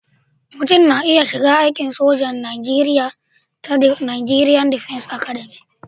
Mutum na iya shiga aikin sojan Najeriya ta Najeriya Defence Academic